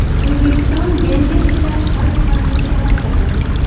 O‘zbekiston benzin ishlab chiqarish hajmini kamaytirdi.